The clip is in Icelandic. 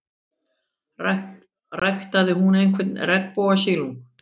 Ræktaði hún einhvern regnbogasilung?